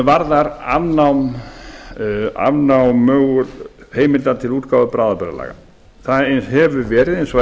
varðar afnám heimilda til útgáfu bráðabirgðalaga það hefur verið eins og eðlilegt